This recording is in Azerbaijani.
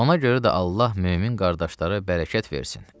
Ona görə də Allah mömin qardaşlara bərəkət versin.